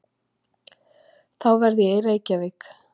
Þá verð ég í Reykjavík.